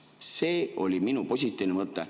See oli minu positiivne mõte.